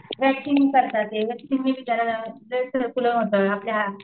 waxing करतात वॅक्सिंगमुळे आपल्या